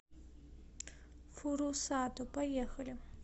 фурусато поехали